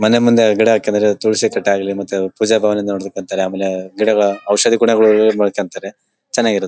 ''ಮನೆ ಮುಂದೆ ಗಿಡ ಹಾಕಿದರೆ ತುಳುಸಿ ಕಟ್ಟೆ ಆಗಲಿ ಮತ್ತೆ ಪೂಜೆ ಭಾವನೆಯಿಂದ ಮತ್ತೆ ಔಷದಿ ಗುಣಗಳನ್ನು ಯೂಸ್ ಮಾಡ್ಕೊಂತಾರೆ ಚೆನ್ನಾಗ್''''ಇರುತ್ತೆ .''